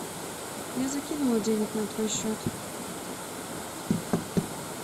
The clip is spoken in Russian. я закинула денег на твой счет